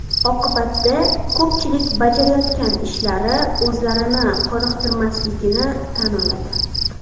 Oqibatda ko‘pchilik bajarayotgan ishlari o‘zlarini qoniqtirmasligini tan oladi.